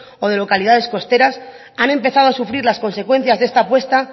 o de localidades costeras han empezado a sufrir las consecuencias de esta puesta